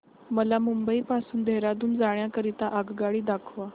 मला मुंबई पासून देहारादून जाण्या करीता आगगाडी दाखवा